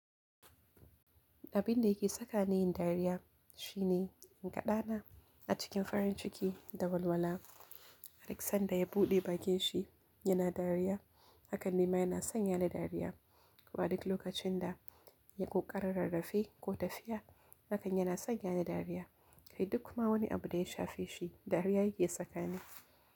Abinda yake sakani yin dariya shine inga ɗana a cikin farin ciki da walwala, adik sanda ya buɗe bakin shi yana dariya, hakan nima yana sanyani dariya. Ko adik lokacin da ya ƙoƙari rarrafe ko tafiya, hakan yana sanya ni dariya. Kai duk kuma wani abu da ya shafe shi, dariya yake saka ni.